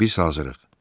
Biz hazırıq.